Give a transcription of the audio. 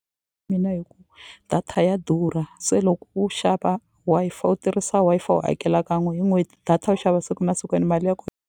Mina data ya durha se loko u xava Wi-Fi u tirhisa Wi-Fi u hakela kan'we hi n'hweti data u xava siku na siku ene mali ya .